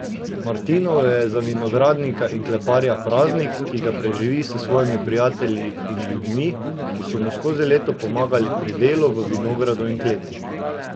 Martinovo je za vinogradnika in kletarja praznik, ki ga preživi s svojimi prijatelji in ljudmi, ki so mu skozi leto pomagali pri delu v vinogradu in kleti.